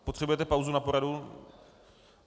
Potřebujete pauzu na poradu?